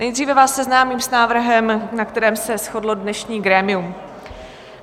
Nejdříve vás seznámím s návrhem, na kterém se shodlo dnešní grémium.